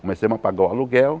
Começamos a pagar o aluguel.